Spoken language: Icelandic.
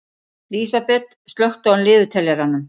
Lísabet, slökktu á niðurteljaranum.